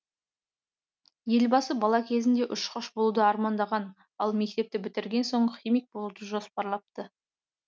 елбасы бала кезінде ұшқыш болуды армандаған ал мектепті бітірген соң химик болуды жоспарлапты